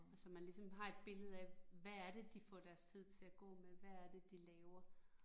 Og så man ligesom har et billede af, hvad er det, de får deres tid til at gå med, hvad er det de laver